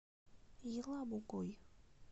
елабугой